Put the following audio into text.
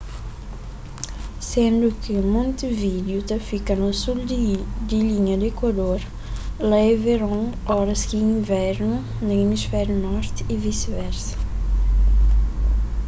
sendu ki montevideo ta fika na sul di linha di ekuador lá é veron óras ki é invernu na emisfériu norti y visi-versa